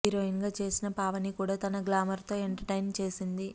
heroine గా చేసిన పావని కూడా తన గ్లామర్ తో ఎంటర్టైన్ చేసింది